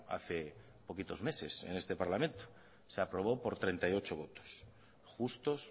hace poquitos meses en este parlamento se aprobó por treinta y ocho votos justos